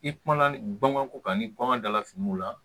I kuma baganw ko kan ni bagan dala finiw la